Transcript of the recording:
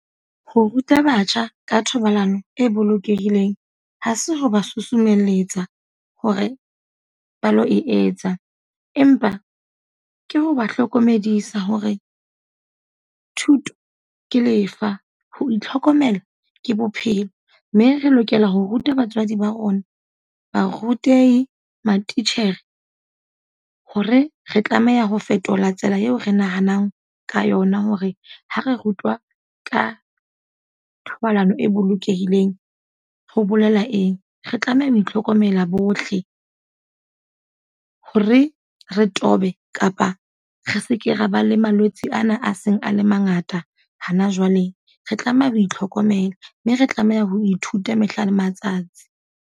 Ho ruta batjha ka thobalano e bolokehileng. Ha se ho ba susumelletsa hore ba lo e etsa. Empa ke ho ba hlokomedisa hore thuto ke lefa, ho itlhokomela ke bophelo. Mme re lokela ho ruta batswadi ba rona, barutehi, matitjhere, hore re tlameha ho fetola tsela eo re nahanang ka yona hore ha re rutwa ka thobalano e bolokehileng, ho bolela eng. Re tlameha ho itlhokomela bohle, ho re re tobe kapa re seke ra ba le malwetse ana a seng a le mangata hana jwale. Re tlameha ho itlhokomela mme re tlameha ho ithuta mehla le matsatsi.